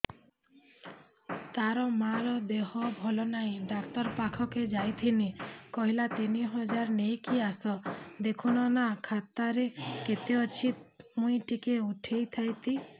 ତାର ମାର ଦେହେ ଭଲ ନାଇଁ ଡାକ୍ତର ପଖକେ ଯାଈଥିନି କହିଲା ତିନ ହଜାର ନେଇକି ଆସ ଦେଖୁନ ନା ଖାତାରେ କେତେ ଅଛି ମୁଇଁ ଟିକେ ଉଠେଇ ଥାଇତି